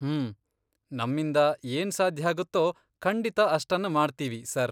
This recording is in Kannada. ಹ್ಮ್.., ನಮ್ಮಿಂದ ಏನ್ ಸಾಧ್ಯಾಗತ್ತೋ ಖಂಡಿತ ಅಷ್ಟನ್ನ ಮಾಡ್ತೀವಿ, ಸರ್.